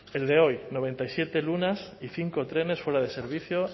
el de hoy noventa y siete lunas y cinco trenes fuera de servicio